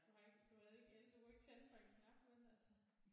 Du har ikke du havde ikke el du kunne ikke tænde for en knap vel altså